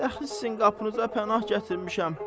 Dəxi sizin qapınıza pənah gətirmişəm.